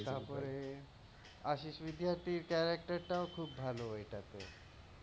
হতে পারে আশীষ বিদ্যার্থীর character টাও খুব ভালো এটাতে,